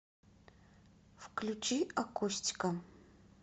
включи акустика